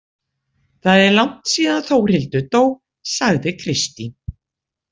Það er langt síðan Þórhildur dó, sagði Kristín.